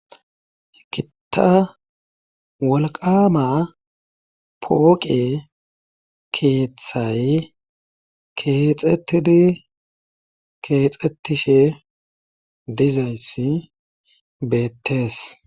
Gitta wolqama pooqe keeththay kexetidi keexxetishe dizayssi beettees.